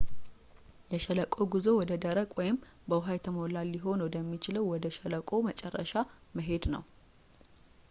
የሸለቆ ጉዞ ወደ ደረቅ ወይም በውሃ የተሞላ ሊሆን ወደ የሚችለው ወደ ሸለቆው መጨረሻ መሄድ ነው